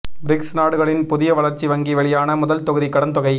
BRICS நாடுகளின் புதிய வளர்ச்சி வங்கி வெளியான முதல் தொகுதி கடன் தொகை